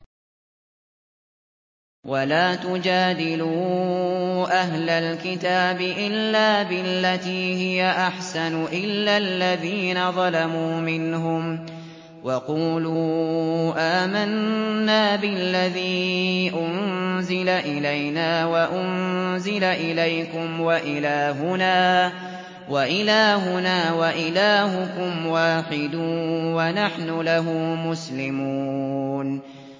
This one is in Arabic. ۞ وَلَا تُجَادِلُوا أَهْلَ الْكِتَابِ إِلَّا بِالَّتِي هِيَ أَحْسَنُ إِلَّا الَّذِينَ ظَلَمُوا مِنْهُمْ ۖ وَقُولُوا آمَنَّا بِالَّذِي أُنزِلَ إِلَيْنَا وَأُنزِلَ إِلَيْكُمْ وَإِلَٰهُنَا وَإِلَٰهُكُمْ وَاحِدٌ وَنَحْنُ لَهُ مُسْلِمُونَ